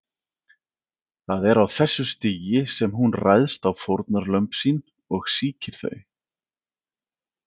Það er á þessu stigi sem hún ræðst á fórnarlömb sín og sýkir þau.